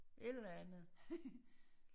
Et eller andet